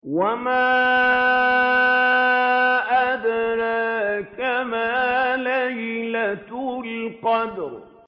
وَمَا أَدْرَاكَ مَا لَيْلَةُ الْقَدْرِ